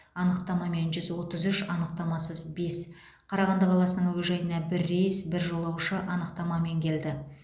анықтамамен жүз отыз үш анықтамасыз бес қарағанды қаласының әуежайына бір рейс бір жолаушы анықтамамен келді